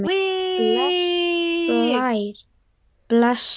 Bless Blár, bless.